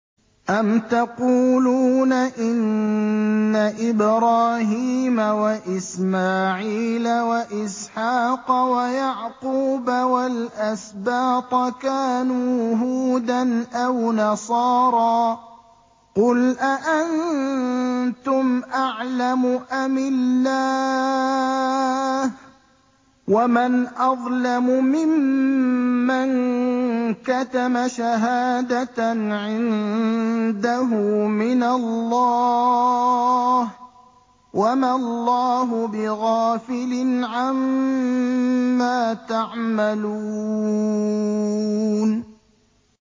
أَمْ تَقُولُونَ إِنَّ إِبْرَاهِيمَ وَإِسْمَاعِيلَ وَإِسْحَاقَ وَيَعْقُوبَ وَالْأَسْبَاطَ كَانُوا هُودًا أَوْ نَصَارَىٰ ۗ قُلْ أَأَنتُمْ أَعْلَمُ أَمِ اللَّهُ ۗ وَمَنْ أَظْلَمُ مِمَّن كَتَمَ شَهَادَةً عِندَهُ مِنَ اللَّهِ ۗ وَمَا اللَّهُ بِغَافِلٍ عَمَّا تَعْمَلُونَ